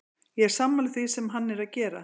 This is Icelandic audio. Ég er sammála því sem hann er að gera.